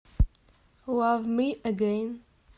лав ми эгейн